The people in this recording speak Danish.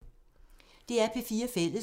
DR P4 Fælles